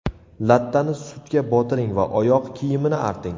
Lattani sutga botiring va oyoq kiyimini arting.